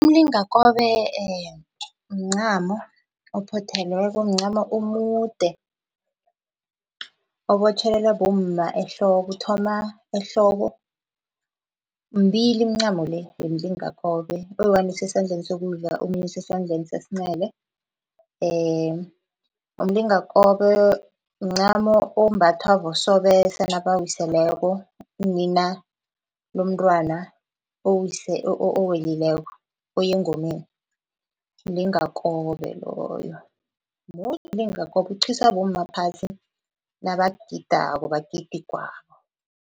Umlingakobe mncamo ophothelweko, mncamo omude, obotjhelelwa bomma ehloko uthoma ehloko. Mibili imincamo le yomlingakobe oyi-one usesandleni sokudla omunye usesandleni sesincele. Umlingakobe mncamo ombathwa bosobesa nabawiseleko, unina lomntwana owelileko, oyengomeni mlingakobe loyo, mude umlingakobe uqhiswa bomma phasi nabagidako bagida igwabo.